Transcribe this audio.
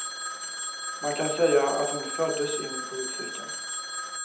Man kan säga att hon föddes in i politiken.